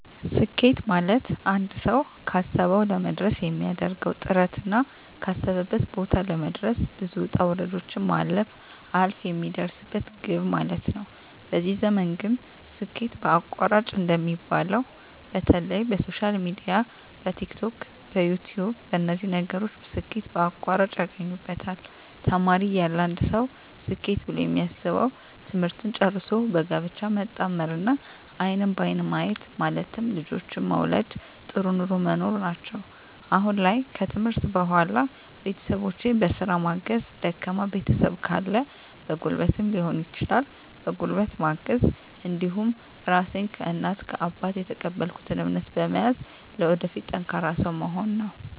ስኬት ማለትአንድ ሰዉ ካሰዉ ለመድረስ የሚያደርገዉ ጥረትና ካሰበበት ቦታ ለመድረስ ብዙ ዉጣ ዉረዶችን ማለፍ አልፍ የሚደርስበት ግብ ማለት ነዉ በዚህ ዘመን ግን ስኬት በአቋራጭ እንደሚባለዉ በተለይ በሶሻል ሚድያ በቲክቶክ በዩትዩብ በነዚህ ነገሮች ስኬት በአቋራጭ ያገኙበታል ተማሪ እያለ አንድ ሰዉ ስኬት ብሎ የሚያስበዉ ትምህርትን ጨርሶ በጋብቻ መጣመርና አይንን በአይን ማየት ማለትም ልጆችን መዉለድ ጥሩ ኑሮ መኖር ናቸዉ አሁን ላይ ከትምህርት በኋላ ቤተሰቦቸን በስራ ማገዝ ደካማ ቤተሰብ ካለ በጉልበትም ሊሆን ይችላል በጉልበት ማገዝ እንዲሁም ራሴን ከእናት ከአባት የተቀበልኩትን እምነት በመያዝ ለወደፊት ጠንካራ ሰዉ መሆን ነዉ